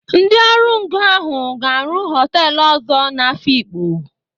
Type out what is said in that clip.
Ndị ọrụngo ahụ ga-arụ họtelu ọzọ n'Afịkpo.